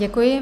Děkuji.